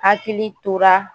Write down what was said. Hakili tora